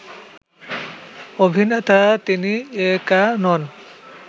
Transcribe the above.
অভিনেতা তিনি একা নন